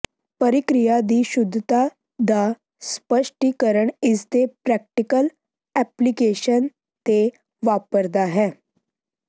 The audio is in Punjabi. ਪਰਿਕਿਰਿਆ ਦੀ ਸ਼ੁੱਧਤਾ ਦਾ ਸਪਸ਼ਟੀਕਰਨ ਇਸਦੇ ਪ੍ਰੈਕਟੀਕਲ ਐਪਲੀਕੇਸ਼ਨ ਤੇ ਵਾਪਰਦਾ ਹੈ